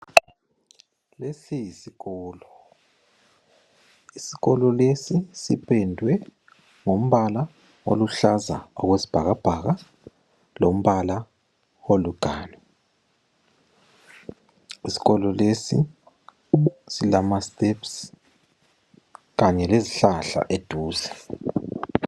Lesi yisikolo. Isikolo lesi sipendwe ngombala oluhlaza okwesibhakabhaka lombala oluganu. Isikolo lesi silama steps kanye lezihlahla eduze.